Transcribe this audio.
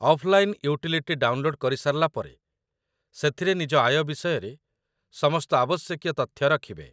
offline utility download କରି ସାରିଲା ପରେ, ସେଥିରେ ନିଜ ଆୟ ବିଷୟରେ ସମସ୍ତ ଆବଶ୍ୟକୀୟ ତଥ୍ୟ ରଖିବେ